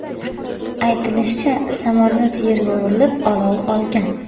Aytilishicha, samolyot yerga urilib, olov olgan.